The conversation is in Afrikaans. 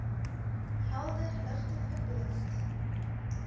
helder ligte verblind